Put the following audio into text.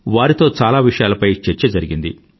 వారితో చాలా విషయాలపై చర్చ జరిగింది